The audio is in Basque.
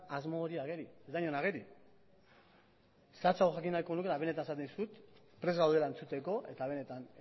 asmo hori ageri ez da inon ageri zehatzago jakin nahiko nuke eta benetan esaten dizut prest gaudela entzuteko eta benetan